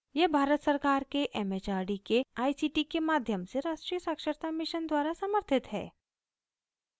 यह भारत सरकार के it it आर डी के आई सी टी के माध्यम से राष्ट्रीय साक्षरता mission द्वारा समर्थित है